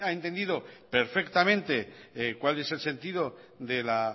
que ha entendido perfectamente cuál es el sentido de la